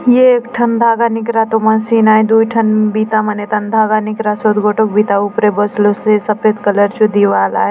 ये एक ठन धागा निकरातो मशीन आय दूय ठन बिता मन एथाने धागा निकरासोत गोटोक बिता ऊपरे बसलोसे सफ़ेद कलर चो दिवार आय।